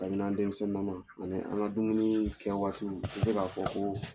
Kabini an denmisɛnnin na man ani an ka dumuni kɛ waatiw n tɛ se ka fɔ ko